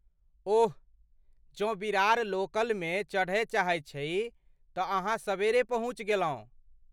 ओह, जँ विरार लोकलमे चढ़य चाहैत छी तँ अहाँ सबेरे पहुँचि गेलहुँ।